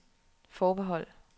forbehold